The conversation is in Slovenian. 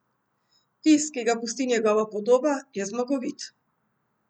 Vtis, ki ga pusti njegova podoba, je zmagovit.